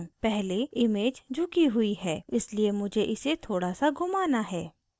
पहले image झुकी हुई है; इसलिए मुझे इसे थोड़ा सा घुमाना है